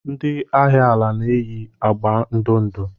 Ndị agha ala na-eyi agba ndụ ndụ.